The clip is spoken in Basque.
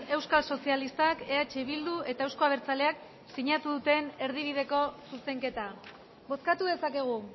euskal sozialistak eh bildu eta euzko abertzaleak sinatu duten erdibideko zuzenketa bozkatu dezakegu